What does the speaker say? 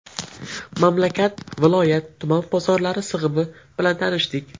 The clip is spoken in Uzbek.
Mamlakat, viloyat, tuman bozorlari sig‘imi bilan tanishdik.